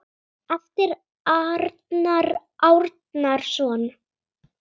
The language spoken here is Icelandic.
eftir Arnar Árnason